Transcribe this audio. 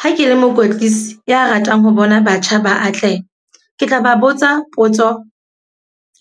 Ha ke le mokwetlisi ya ratang ho bona batjha ba atleha. Ke tla ba botsa potso